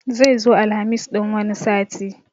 Zai zo Alhamis ɗin wani sati